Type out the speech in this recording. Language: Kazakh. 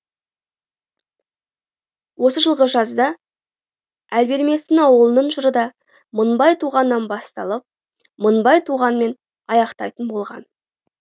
осы жылғы жазда әлберместің ауылының жыры да мыңбай туғаннан басталып мыңбай туғанмен аяқтайтын болған